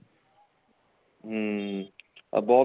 ਹਮ above